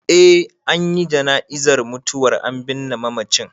Eh an yi jana'izar mutuwar, an binne mamacin.